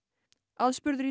aðspurður